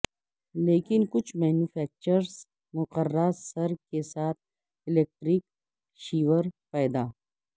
لیکن کچھ مینوفیکچررز مقررہ سر کے ساتھ الیکٹرک شیور پیدا